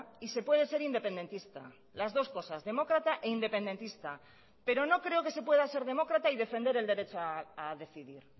y se puede ser independentista las dos cosas demócrata e independentista pero no creo que se pueda ser demócrata y defender el derecho a decidir